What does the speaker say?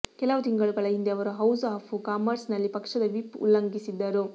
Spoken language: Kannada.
ಕೆಲವು ತಿಂಗಳುಗಳ ಹಿಂದೆ ಅವರು ಹೌಸ್ ಆಫ್ ಕಾಮರ್ಸ್ ನಲ್ಲಿ ಪಕ್ಷದ ವಿಪ್ ಉಲ್ಲಂಘಿಸಿದ್ದರು